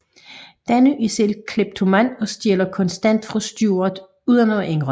Danny er selv kleptoman og stjæler konstant fra Stewart uden at indrømme det